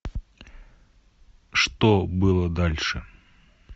что было дальше